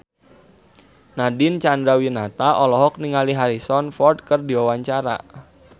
Nadine Chandrawinata olohok ningali Harrison Ford keur diwawancara